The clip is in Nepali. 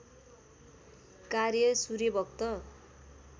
कार्य सूर्यभक्त